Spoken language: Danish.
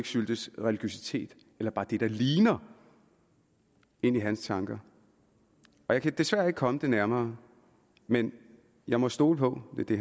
syltes religiøsitet eller bare det der ligner ind i hans tanker jeg kan desværre ikke komme det nærmere men jeg må stole på at det